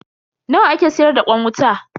Nawa ake siyar da kwan wuta?